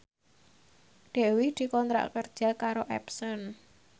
Dewi dikontrak kerja karo Epson